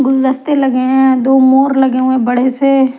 गुलदस्ते लगे हैं दो मोर लगे हुए हैं बड़े से।